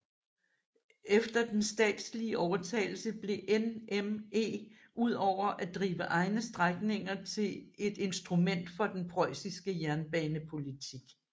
Efter den statslige overtagelse blev NME udover at drive egne strækninger til et instrument for den preussiske jernbanepolitik